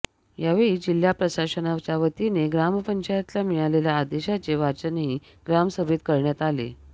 यावेळी जिल्हा प्रशासनाच्यावतीने ग्रामपंचायतला मिळालेल्या आदेशाचे वाचनही ग्रामसभेत करण्यात आले